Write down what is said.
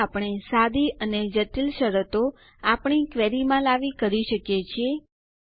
આ રીતે આપણે સાદી અને જટિલ શરતો આપણી ક્વેરીમાં લાવી કરી શકીએ છીએ